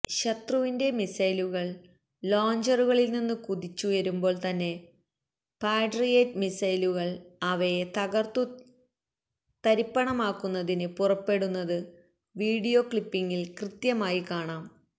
ശത്രുവിന്റെ മിസൈലുകൾ ലോഞ്ചറുകളിൽനിന്ന് കുതിച്ച് ഉയരുമ്പോൾ തന്നെ പാട്രിയേറ്റ് മിസൈലുകൾ അവയെ തകർത്തുതരിപ്പണമാക്കുന്നതിന് പുറപ്പെടുന്നത് വീഡിയോ ക്ലിപ്പിംഗിൽ കൃത്യമായി കാണാം